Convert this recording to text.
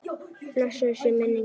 Blessuð sé minning hans.